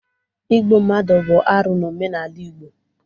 Igbu mmadụ bụ arụ n'omenala Igbo.